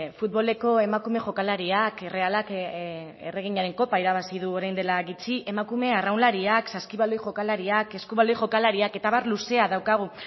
futboleko emakume jokalariak errealak erreginaren kopa irabazi du orain dela gutxi emakume arraunlariak saskibaloi jokalariak eskubaloi jokalariak eta abar luzea daukagu